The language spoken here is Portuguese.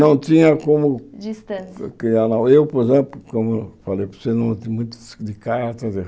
Não tinha como Distância... Que ela eu, por exemplo, como eu falei para você, não de carta.